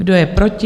Kdo je proti?